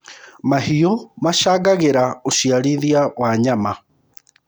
mahiũ macangagira uciarithia wa nyama